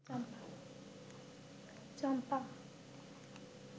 চম্পা